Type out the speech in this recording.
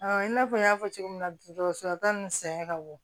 i n'a fɔ n y'a fɔ cogo min na dɔgɔtɔrɔso la ta ni sɛgɛn ka bon